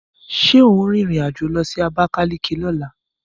Ṣé ò ń rìnrìn àjò lọ sí Abakaliki lọ́la?